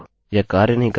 यह कार्य नहीं कर रहा है